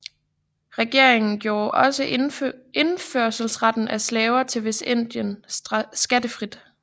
Regeringen gjorde også indførslen af slaver til Vestindien skattefri